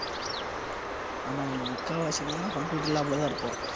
ஆமா நம்ம முக்காவாசி நேரம் computer lab லதான் இருப்போம்